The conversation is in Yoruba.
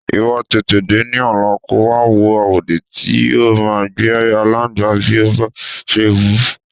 Ìwo̩ tètè dé ní ò̩lá kó wa wo àwòdì tí yóò máa gbé aláǹgbá bí ó bá s̩e wù ú.